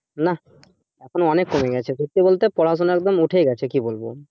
এখন অনেক কমে গেছে সত্যি বলতে পড়াশোনা একদম উঠেই গেছে কি বলবো